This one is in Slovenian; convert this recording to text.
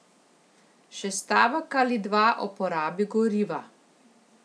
Še stavek ali dva o porabi goriva.